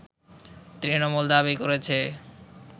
তৃণমূল দাবি করেছে